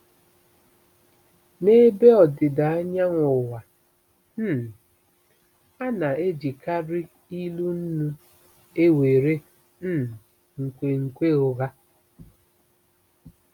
N'Ebe Ọdịda Anyanwụ Ụwa, um a na-ejikarị ilu nnu ewere um nkwenkwe ụgha.